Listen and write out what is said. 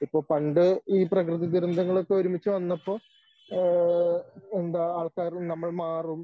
ഇപ്പൊ പണ്ട് ഈ പ്രകൃതിദുരന്തങ്ങളൊക്കെ ഒരുമിച്ചു വന്നപ്പോ ഏഹ് എന്താ ആൾക്കാര് നമ്മൾ മാറും